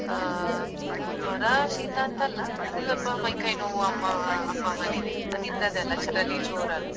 ಅಹ್ ಜ್ವರ ಶೀತ ಅಂತಲ್ಲ ಅಂದ್ರೆ ಸ್ವಲ್ಪ ಮೈಕೈ ನೋವು ಅಮ್ಮ ಅಪ್ಪ ಅಮ್ಮನಿಗೆ ಅದ್ ಇದ್ದದ್ದೇ ಅಲ್ಲ ಚಳಿ ಜೋರಲ್ಲ.